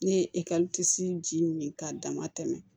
Ne ye ji min k'a dama tɛmɛ